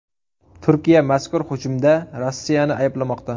Turkiya mazkur hujumda Rossiyani ayblamoqda.